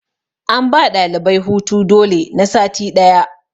an ba ɗalibai hutu dole na sati ɗaya